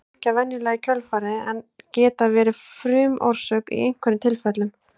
þær fylgja venjulega í kjölfarið en geta verið frumorsök í einhverjum tilfellum